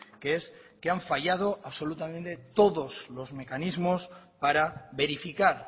que es que han fallado absolutamente todos los mecanismos para verificar